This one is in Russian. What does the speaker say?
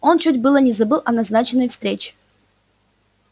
он чуть было не забыл о назначенной встрече